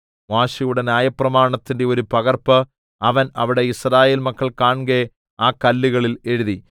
മോശെയുടെ ന്യായപ്രമാണത്തിന്റെ ഒരു പകർപ്പ് അവൻ അവിടെ യിസ്രായേൽ മക്കൾ കാൺകെ ആ കല്ലുകളിൽ എഴുതി